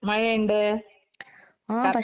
മഴ ഇണ്ട്.